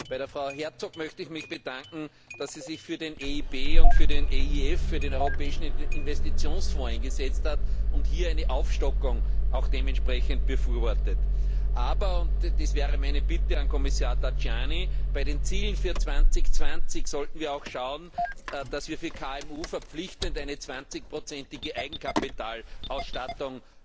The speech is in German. Bei Frau Herczog möchte ich mich bedanken, dass sie sich für die EIB und für den EIF, für den Europäischen Investitionsfonds, eingesetzt hat und hier eine Aufstockung auch dementsprechend befürwortet. Aber das wäre meine Bitte an Kommissar Tajani bei den Zielen für 2020 sollten wir auch schauen, dass wir für KMU verpflichtend eine 20 prozentige Eigenkapitalausstattung